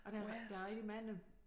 Og der der er rigtig mange